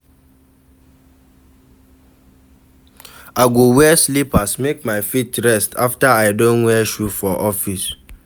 I go wear slippers make my feet rest afta I don wear shoe for office.